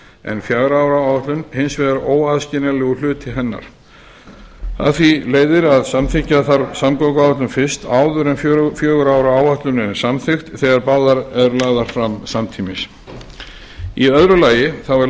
en fjögurra ára áætlun hins vegar óaðskiljanlegur hluti hennar af því leiðir að samþykkja þarf samgönguáætlun fyrst áður en fjögurra ára áætlunin er samþykkt þegar báðar eru lagðar fram samtímis í öðru lagi er